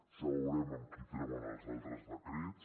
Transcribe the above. ja veurem amb qui treuen els altres decrets